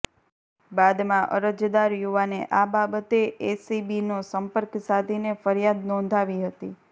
બાદમાં અરજદાર યુવાને આ બાબતે એસીબીનો સંપર્ક સાધીને ફરિયાદ નોંધાવી હતી